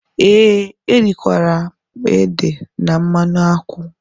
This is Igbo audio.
Ee, erikwara m ede na mmanụ Akwu.